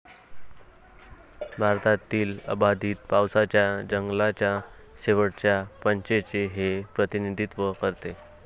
भारतातील अबाधित पावसाच्या जंगलाच्या शेवटच्या पॅचचे हे प्रतिनिधित्व करते.